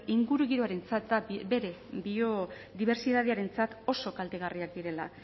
ingurugiroarentzat eta bere biodibertsitatearentzat oso kaltegarriak direla